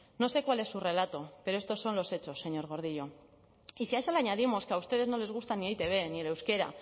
no sé cuál es su relato pero estos son los hechos señor gordillo y si a eso le añadimos que a ustedes no les gusta ni e i te be ni el euskera